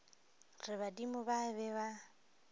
re badimo ba be ba